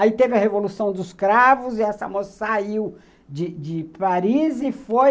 Aí teve a Revolução dos Cravos, e essa moça saiu de de Paris e foi